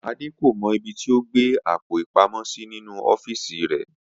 Adé kò mo̩ ibi tí ó gbé àpò-ìpamó̩ sí nínú ó̩fíìsì rè̩